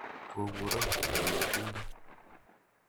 Go kuron kanetindet.